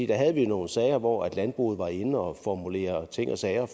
der havde vi jo nogle sager hvor landbruget var inde og formulere ting og sager